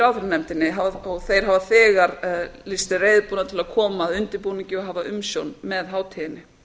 ráðherranefndinni þeir hafa þegar lýst sig reiðubúna til að koma að undirbúningi og hafa umsjón með hátíðinni